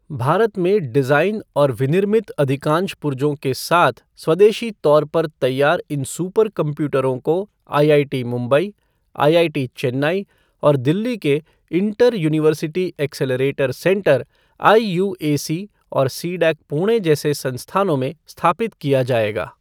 भारत में डिज़ाइन और विनिर्मित अधिकांश पुर्जों के साथ स्वदेशी तौर पर तैयार इन सुपर कंप्यूटरों को आईआईटी मुंबई, आईआईटी चेन्नई और दिल्ली के inter university accelerator centre IUAC और सीडैक पुणे जैसे संस्थानों में स्थापित किया जाएगा।